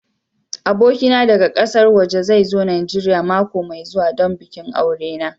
Abokina daga ƙasar waje zai zo Najeriya mako mai zuwa don bikin aure na.